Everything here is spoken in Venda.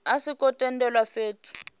a zwo ngo tendelwa fhethu